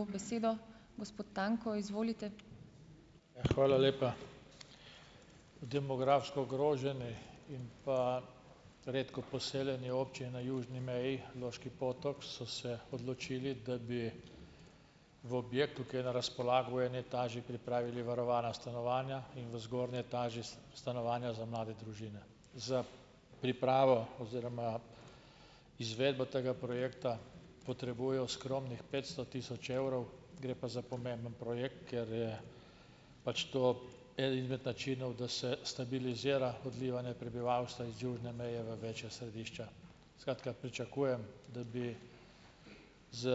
Ja, hvala lepa. V demografsko ogroženi in pa redko poseljeni občini na južni meji Loški Potok so se odločili, da bi v objektu, ki je na razpolago, v eni etaži pripravili varovana stanovanja in v zgornji etaži stanovanja za mlade družine. Za pripravo oziroma izvedbo tega projekta potrebujejo skromnih petsto tisoč evrov, gre pa za pomemben projekt, ker je pač to eden izmed načinov, da se stabilizira odlivanje prebivalstva z južne meje v večja središča. Skratka, pričakujem, da bi s